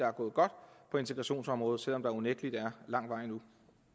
er gået godt på integrationsområdet selv om der unægtelig er lang vej endnu